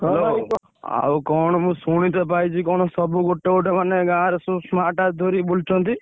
ଆଉ କଣ ମୁ ଶୁଣିତେ ପାଇଛି କଣ ସବୁ ଗୋଟେଗୋଟେ ମାନେ ଗାଁରେ ସବୁ smart watch ଧରିକି ବୁଲୁଛନ୍ତି?